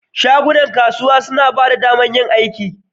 Shagunan kasuwa suna ba da damar yin aiki.